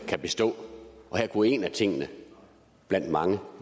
kan bestå og her kunne en af tingene blandt mange